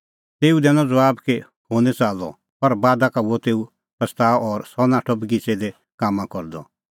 तेऊ दैनअ ज़बाब कि हुंह निं च़ाल्लअ पर बादा का हुअ तेऊ पछ़ताअ और सह नाठअ बगिच़ै लै कामां करदअ